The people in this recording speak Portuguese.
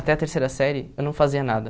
Até a terceira série eu não fazia nada.